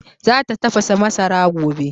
Za ta tafasa masara gobe